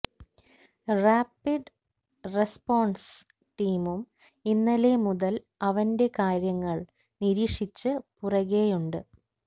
rapid response ടീമും ഇന്നലെ മുതല് അവന്റെ കാര്യങ്ങള് നിരീക്ഷിച്ച് പുറകേയുണ്ട്